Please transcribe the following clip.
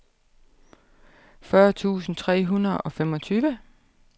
fyrre tusind tre hundrede og femogtyve